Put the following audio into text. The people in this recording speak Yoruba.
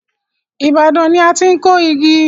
Ibadan ni a ti n kó igi.